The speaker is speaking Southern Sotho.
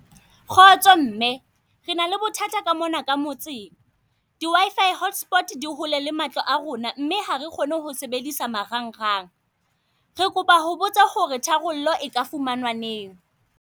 Kgotso mme, re na le bothata ka mona ka motseng. Di W_I_F_I hotspot di hole le matlo a rona, mme hare kgone ho sebedisa marangrang. Re kopa ho botsa ho re tharollo e ka fumanwa neng?